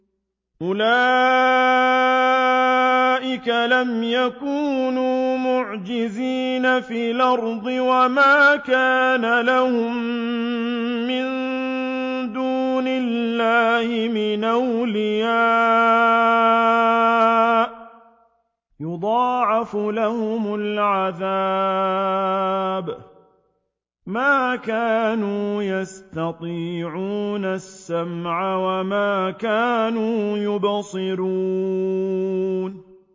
أُولَٰئِكَ لَمْ يَكُونُوا مُعْجِزِينَ فِي الْأَرْضِ وَمَا كَانَ لَهُم مِّن دُونِ اللَّهِ مِنْ أَوْلِيَاءَ ۘ يُضَاعَفُ لَهُمُ الْعَذَابُ ۚ مَا كَانُوا يَسْتَطِيعُونَ السَّمْعَ وَمَا كَانُوا يُبْصِرُونَ